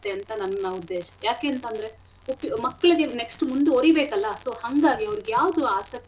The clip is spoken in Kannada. ಅಂತ ನನ್ನ ಉದ್ದೇಶ ಯಾಕೇಂತಂದ್ರೆ ಉಪ್ಪಿ ಮಕ್ಳಿಗೆ next ಉ ಮುಂದುವರೀಬೇಕಲ್ಲ so ಹಂಗಾಗಿ ಅವ್ರಿಗೆ ಯಾವ್ದು ಆಸಕ್ತಿ.